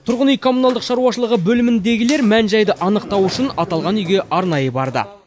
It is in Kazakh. тұрғын үй коммуналдық шаруашылығы бөліміндегілер мән жайды анықтау үшін аталған үйге арнайы барды